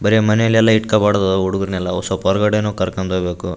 ಬರಿ ಮಾನೆಲ್ಲಾಳೆಲ್ಲ ಇತ್ಕೊಬಾಡ್ದು ಹುಡುಗುರ್ನೆಲ್ಲ ಒಸ್ವಲ್ಪ ಒರಗಡೆನು ಕರ್ಕೊಂಡ್ ಒಬೇಕು.